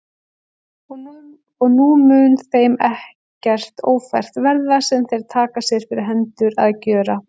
Og nú mun þeim ekkert ófært verða, sem þeir taka sér fyrir hendur að gjöra.